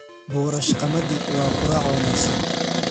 Boorash qamadi waa quraac wanaagsan.